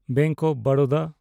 bank of Baroda